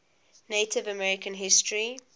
native american history